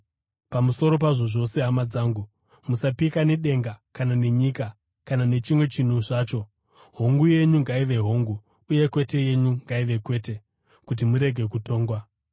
Pamusoro pazvo zvose, hama dzangu, musapika, nedenga kana nenyika kana nechimwe chinhu zvacho. “Hongu” yenyu ngaive hongu, uye “Kwete” yenyu ngaive kwete, kuti murege kutongwa.